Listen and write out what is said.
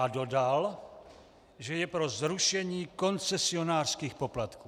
A dodal, že je pro zrušení koncesionářských poplatků.